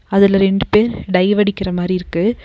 அதுல ரெண்டு பேர் டைவ் அடிக்கிற மாரி இருக்கு.